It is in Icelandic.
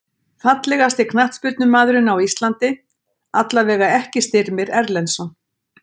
Fallegasti knattspyrnumaðurinn á Íslandi: Allavega ekki Styrmir Erlendsson.